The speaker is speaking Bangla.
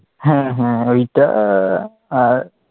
হ্যাঁ হ্যাঁ ঐইটা আর,